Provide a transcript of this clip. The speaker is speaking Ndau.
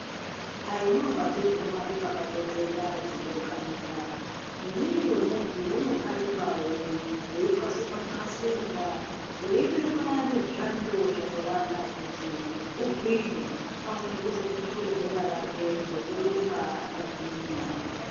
Haimovhapi dzega dzinohambe papato dzinokanikwa. Nemwiri wemuntu unokanikwawo weitwasurwa twasurwa weibekwa nezvando zvakawanda kuti ugwinye aone kuzopunture bhora rake nekurumba akagwinya.